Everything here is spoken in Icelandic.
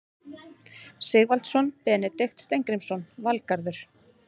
Sigvaldason, Benedikt Steingrímsson, Valgarður